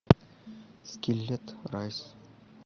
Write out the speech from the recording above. скиллет райс